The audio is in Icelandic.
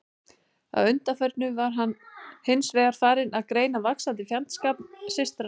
Að undanförnu var hann hins vegar farinn að greina vaxandi fjandskap systranna í milli.